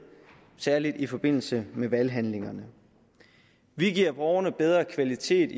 særlig i forbindelse med valghandlingerne vi giver borgerne bedre kvalitet